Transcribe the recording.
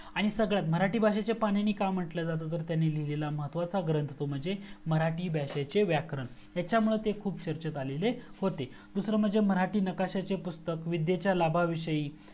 आणि सगळ्यात मराठी भाषेचे पाणिणी का म्हंटल जातं तर त्यांनी लिहिलेला महत्वाचा ग्रंथ तो म्हणजे मराठी भाषेचे व्याकरण याच्यामुळे ते खूप चर्चेत आलेले होते दूसरा म्हणजे मराठी नकाशाचे पुस्तक विद्येच्या लाभाविषयी